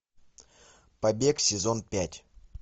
побег сезон пять